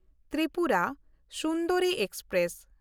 Tripura Sundari express